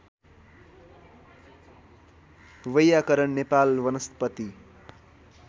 वैयाकरण नेपाल वनस्पति